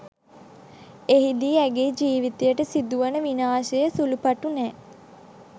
එහිදී ඇගේ ජිවිතයට සිදුවන විනාශය සුලුපටු නෑ